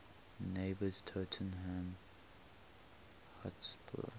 neighbours tottenham hotspur